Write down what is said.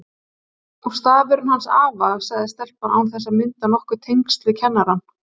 Og stafurinn hans afa, sagði stelpan án þess að mynda nokkur tengsl við kennarann.